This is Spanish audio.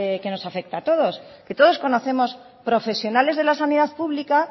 que nos afecta a todos que todos conocemos profesionales de la sanidad pública